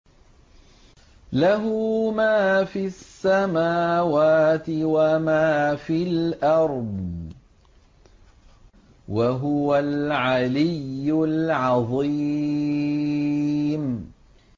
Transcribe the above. لَهُ مَا فِي السَّمَاوَاتِ وَمَا فِي الْأَرْضِ ۖ وَهُوَ الْعَلِيُّ الْعَظِيمُ